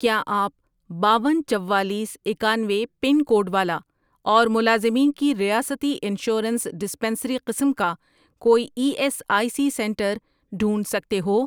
کیا آپ باون، چوالیس، اکانوے، پن کوڈ والا اور ملازمین کی ریاستی انشورنس ڈسپنسری قسم کا کوئی E S I C centre ڈھونڈ سکتے ہو؟